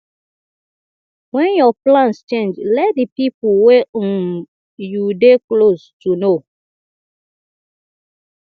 when your plans change let di pipo wey um you dey close to know